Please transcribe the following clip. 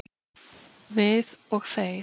Við og þeir